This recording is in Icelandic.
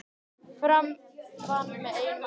Fram vann með einu marki